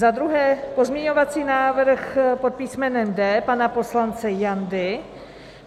Za druhé pozměňovací návrh pod písmenem D pana poslance Jandy.